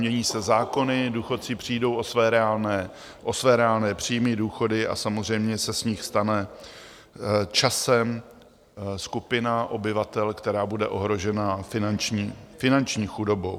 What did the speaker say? Mění se zákony, důchodci přijdou o své reálné příjmy, důchody a samozřejmě se z nich stane časem skupina obyvatel, která bude ohrožena finanční chudobou.